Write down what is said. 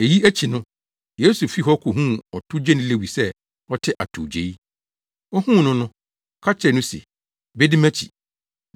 Eyi akyi no, Yesu fii hɔ kohuu ɔtowgyeni Lewi sɛ ɔte atowgyei. Ohuu no no, ɔka kyerɛɛ no se, “Bedi mʼakyi.”